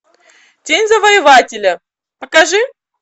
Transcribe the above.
день завоевателя покажи